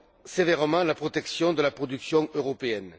sévèrement la protection de la production européenne.